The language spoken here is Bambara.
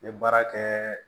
N ye baara kɛ